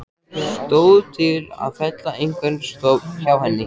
Stóð til að fella einhvern stofn hjá henni?